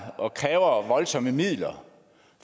og kræver voldsomme midler